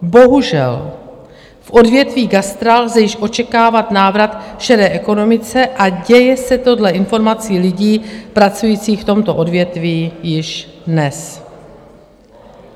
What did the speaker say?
Bohužel v odvětví gastra lze již očekávat návrat šedé ekonomiky a děje se to dle informací lidí pracujících v tomto odvětví již dnes.